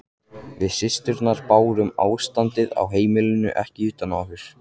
Við systurnar bárum ástandið á heimilinu ekki utan á okkur.